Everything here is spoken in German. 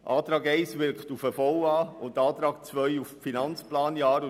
Der Antrag 1 wirkt auf den VA und der Antrag 2 auf das Finanzplanjahr.